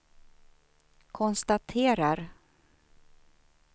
konstaterar